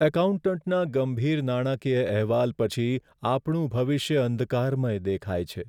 એકાઉન્ટન્ટના ગંભીર નાણાકીય અહેવાલ પછી આપણું ભવિષ્ય અંધકારમય દેખાય છે.